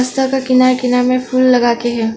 सड़क का किनारे किनारे में फूल लगा के है।